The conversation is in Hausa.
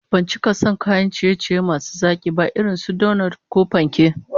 Ban cika son kayan ciye-ciye masu zaki ba irin su donot ko panke